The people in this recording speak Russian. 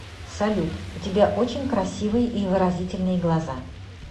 салют у тебя очень красивые и выразительные глаза